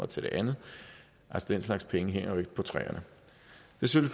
til det andet den slags penge hænger jo ikke på træerne så